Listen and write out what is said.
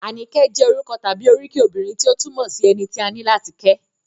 Àníkẹ́ jẹ́ orúkọ tàbí oríkì obìnrin tí ó túmọ̀ sí - ẹni tí a ní láti kẹ́